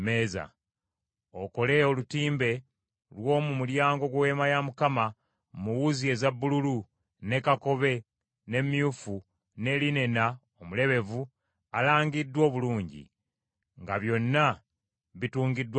“Okole olutimbe lw’omu mulyango gw’Eweema mu wuzi eza bbululu, ne kakobe, ne myufu, ne linena omulebevu alangiddwa omulungi; nga byonna bitungiddwa bulungi.